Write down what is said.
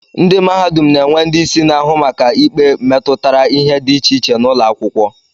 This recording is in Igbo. Ndị mahadum na-enwe ndị isi na-ahụ maka ikpe metụtara ihe dị iche iche n'ụlọakwụkwọ